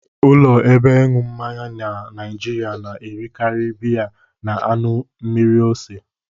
Ụlọ ebe ịṅụ mmanya na Naịjịrịa na-erekarị biya na anụ mmiri ose.